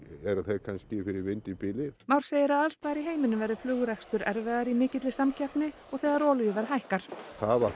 eru þeir kannski fyrir vind í bili Már segir að alls staðar í heiminum verði flugrekstur erfiðari í mikilli samkeppni og þegar olíuverð hækkar það að